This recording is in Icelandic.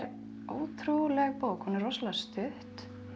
ótrúleg bók hún er rosalega stutt